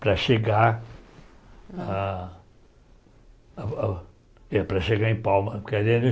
Para chegar a a a... É, para chegar em Palma. Porque a gente